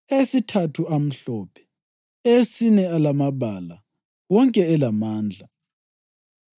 eyesithathu amhlophe, eyesine alamabala, wonke elamandla.